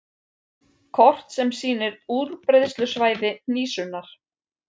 Kort sem sýnir útbreiðslusvæði hnísunnar.